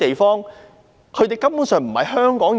他們根本不是香港人。